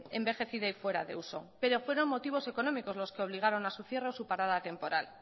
envejecida y fuera de uso pero fueron motivos económicos los que obligaron a su cierre o su parada temporal